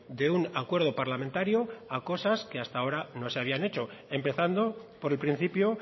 de un acuerdo parlamentario a cosas que hasta ahora no se habían hecho empezando por el principio